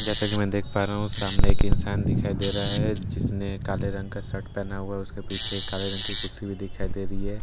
जैसे कि मैं देख पा रहा हूं सामने एक इंसान दिखाई दे रहा है जिसने काले रंग का शर्ट पहना है उसके पीछे काले रंग की कुर्सी भी दिखाई दे रही है आ --